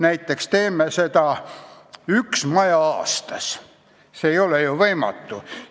Näiteks taastame ühe maja aastas, see ei ole ju võimatu!